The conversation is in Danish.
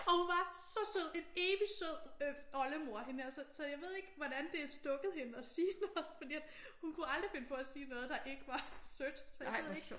Og hun var så sød. En evigt sød oldemor øh hende her så jeg ved ikke hvordan det er stukket hende at sige noget. For hun kunne aldrig finde på at sige noget der ikke var sødt. Så jeg ved ikke